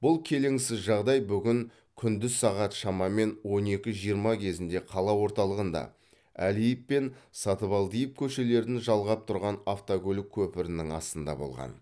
бұл келеңсіз жағдай бүгін күндіз сағат шамамен он екі жиырма кезінде қала орталығында әлиев пен сатыбалдиев көшелерін жалғап тұрған автокөлік көпірінің астында болған